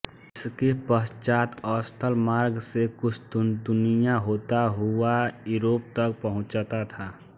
इसके पश्चात् स्थल मार्ग से कुस्तुनतुनिया होता हुआ यूरोप तक पहुँचता था